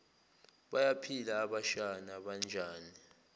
bayaphila abashana banjani